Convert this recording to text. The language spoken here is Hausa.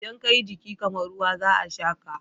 Idan ka yi jiki kamar ruwa, za a sha ka.